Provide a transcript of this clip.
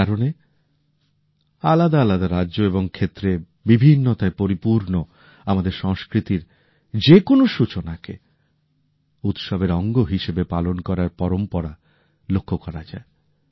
এই কারণে আলাদা আলাদা রাজ্য এবং ক্ষেত্রে বিভিন্নতায় পরিপূর্ণ আমাদের সংস্কৃতির যেকোনো সূচনাকে উৎসবের অঙ্গ হিসেবে পালন করার পরম্পরা লক্ষ্য করা যায়